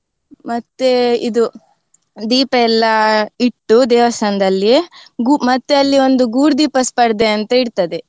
ಮತ್ತೆ ಇದು ದೀಪ ಎಲ್ಲ ಇಟ್ಟು ದೇವಸ್ಥಾನದಲ್ಲಿ ಗೂ~ ಮತ್ತೆ ಅಲ್ಲಿ ಒಂದು ಗೂಡುದೀಪ ಸ್ಪರ್ಧೆ ಅಂತ ಇರ್ತದೆ.